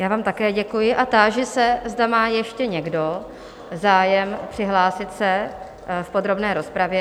Já vám také děkuji a táži se, zda má ještě někdo zájem přihlásit se v podrobné rozpravě.